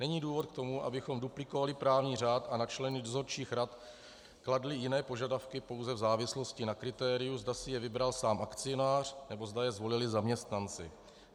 Není důvod k tomu, abychom duplikovali právní řád a na členy dozorčích rad kladli jiné požadavky pouze v závislosti na kritériu, zda si je vybral sám akcionář, nebo zda je zvolili zaměstnanci.